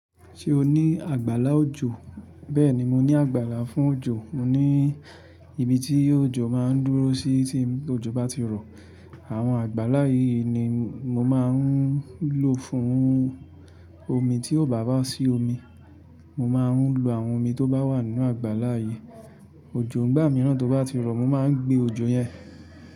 Ṣé o ní àgbàlá òjò? Bẹ́ẹ̀ni, mo ní àgbàlá fún òjò, mo ní ibi tí òjò má a ń dúró sí tí òjò bá ti rọ̀. Àwọn àgbàlá yìí ni mo máa ń lò fún omi tí ò bá wá sí omi. Mo máa ń lo àwọn omi tó bá wà nínú àgbàlá yìí. Òjò ngbà mìíràn tó bá ti rọ̀, mo máa ń gbé òjò yẹn.